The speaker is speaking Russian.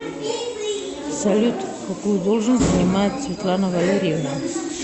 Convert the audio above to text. салют какую должность занимает светлана валерьевна